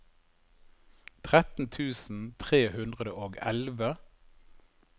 tretten tusen tre hundre og elleve